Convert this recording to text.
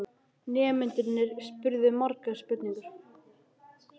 Nemendurnir spurðu margra spurninga.